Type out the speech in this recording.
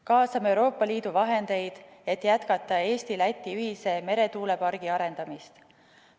Kaasame Euroopa Liidu vahendeid, et jätkata Eesti-Läti ühise meretuulepargi arendamist.